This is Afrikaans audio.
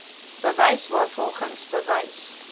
bewys waarvolgens bewys